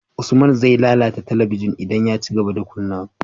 Usman ze lalata talabigin idan ya cigaba da kunnawa